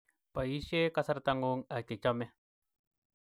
Boise kasartangu ak chechome